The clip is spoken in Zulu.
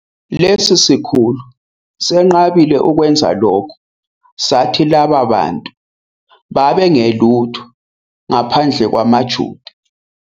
Lesi sikhulu senqabile ukwenza lokho, sathi laba bantu babengelutho ngaphandle kwamaJuda.